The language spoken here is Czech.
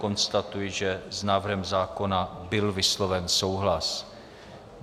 Konstatuji, že s návrhem zákona byl vysloven souhlas.